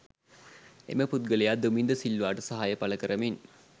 එම පුද්ගලයා දුමින්ද සිල්වාට සහාය පළකරමින්